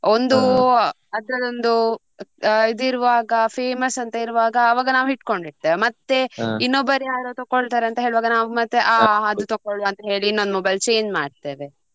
ಒಂದು ಅದ್ರದೊಂದು ಇದ್ ಇರುವಾಗ famous ಅಂತ ಇರುವಾಗ ಆವಾಗ ನಾವ್ ಇಡ್ಕೊಂಡು ಇರ್ತೆವೆ ಮತ್ತೆ ಇನ್ನೊಬ್ಬರು ಯಾರೋ ತಕೊಳ್ತಾರೆ ಅಂತ ಹೇಳುವಾಗ ನಾವ್ ಮತ್ತೆ ಆ ಅದು ತಕೊಳ್ಳುವ ಅಂತ ಹೇಳಿ ಇನ್ನೊಂದ್ mobile change ಮಾಡ್ತೇವೆ.